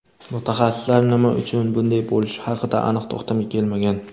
Mutaxassislar nima uchun bunday bo‘lishi haqida aniq to‘xtamga kelmagan.